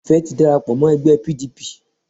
Ìfẹ́ ti darapo mó ẹgbẹ́ P. D. P.